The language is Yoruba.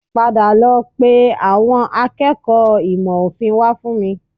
Padà lọ pe àwọn akẹ́kọ̀ọ́ ìmọ̀ òfin wá fún mi